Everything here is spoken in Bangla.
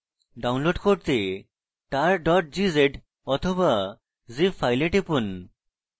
download করতে tar gz বা zip file টিপুন